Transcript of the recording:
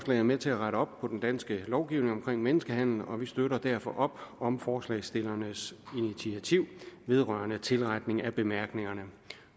er med til at rette op på den danske lovgivning om menneskehandel og vi støtter derfor op om forslagsstillernes initiativ vedrørende tilretning af bemærkningerne